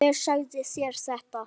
Hver sagði þér þetta?